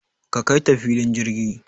Ka Kaita filin jirgi